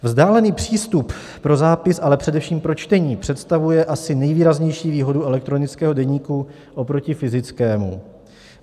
Vzdálený přístup pro zápis, ale především pro čtení představuje asi nejvýraznější výhodu elektronického deníku oproti fyzickému.